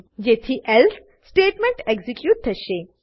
જેથી else else statement execute થશે